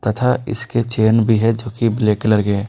तथा इसके चैन भी है जो की ब्लैक कलर के हैं।